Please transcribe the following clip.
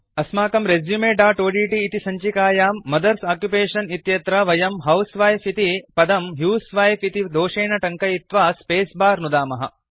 अस्माकं resumeओड्ट् इति सञ्चिकायां मदर्स ओक्युपेशन इत्यत्र वयं हाउसवाइफ इति पदं ह्यूसवाइफ इति दोषेन टङ्कयित्वा स्पेस बार नुदामः